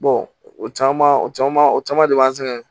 o caman o caman o caman de b'an sɛgɛn